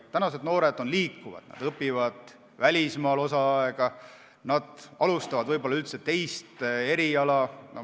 Tänased noored on liikuvad, nad õpivad osa aega välismaal, alustavad võib-olla üldse teisel erialal.